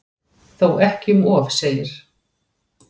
Þó ekki um of segir